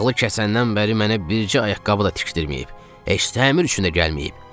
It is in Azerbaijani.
Ağlı kəsəndən bəri mənə bircə ayaqqabı da tikdirməyib, heç təmir üçün də gəlməyib.